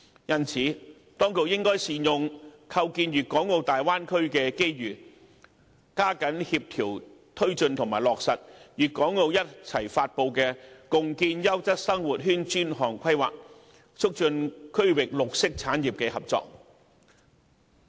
因此，當局應善用構建粵港澳大灣區的機遇，加緊協調推進及落實粵港澳共同發布的《共建優質生活圈專項規劃》，促進區域綠色產業的合作。